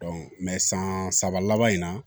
san saba laban in na